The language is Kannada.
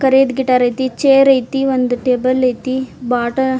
ಕರೀದ್ ಗಿಟಾರ್ ಆಯ್ತಿ ಚೇರ್ ಆಯ್ತಿ ಒಂದ್ ಟೇಬಲ್ ಆಯ್ತಿ ಬಾಟ --